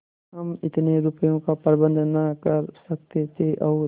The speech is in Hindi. हम इतने रुपयों का प्रबंध न कर सकते थे और